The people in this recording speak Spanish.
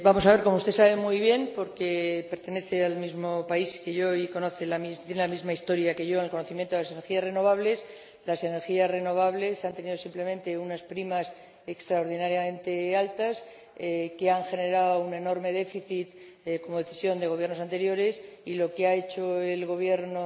Vamos a ver, como usted sabe muy bien, porque pertenece al mismo país que yo y tiene la misma historia que yo en el conocimiento de las energías renovables, las energías renovables han tenido simplemente unas primas extraordinariamente altas, que han generado un enorme déficit por decisión de Gobiernos anteriores, y lo que ha hecho el Gobierno